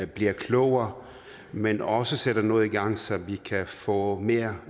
bliver klogere men også sætter noget i gang så vi kan få mere